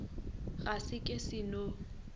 a ge ke se no